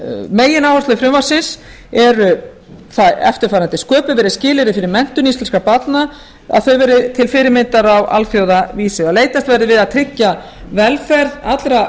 megináherslur frumvarpsins eru eftirfarandi sköpuð verði skilyrði fyrir menntun íslenskra barna að þau verði til fyrirmyndar á alþjóðavísu að leitast verði við að tryggja velferð allra